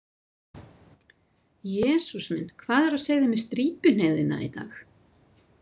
Jesús minn, hvað er á seyði með strípihneigðina í dag?